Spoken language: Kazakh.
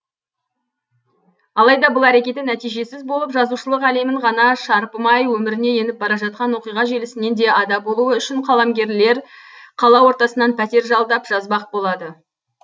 алайда бұл әрекеті нәтижесіз болып жазушылық әлемін ғана шарпымай өміріне еніп бара жатқан оқиға желісінен ада болуы үшін қаламгер лер қала ортасынан пәтер жалдап жазбақ болады